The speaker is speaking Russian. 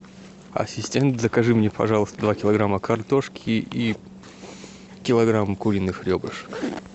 ассистент закажи мне пожалуйста два килограмма картошки и килограмм куриных ребрышек